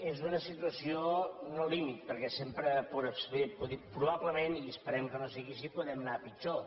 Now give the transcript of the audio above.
és una situació no límit perquè probablement i esperem que no sigui així podem anar pitjor